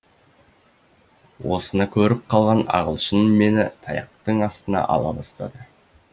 осыны көріп қалған ағылшын мені таяқтың астына ала бастады